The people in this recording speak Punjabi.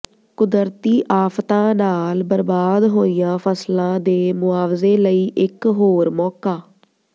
ਕੁਦਰਤੀ ਆਫ਼ਤਾਂ ਨਾਲ ਬਰਬਾਦ ਹੋਈਆਂ ਫ਼ਸਲਾਂ ਦੇ ਮੁਆਵਜ਼ੇ ਲਈ ਇਕ ਹੋਰ ਮੌਕਾ